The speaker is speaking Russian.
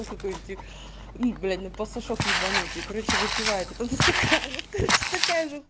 ну какой нибудь их блять просто шок ебаные короче выпевает это стакан вот короче такая же